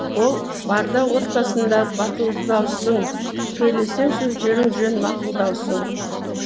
ол барда отбасыңда батылдаусың сөйлесең сөздерің жөн мақұлдаусың